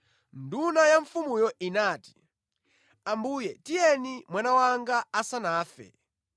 Nduna ya mfumuyo inati, “Ambuye tiyeni mwana wanga asanafe.”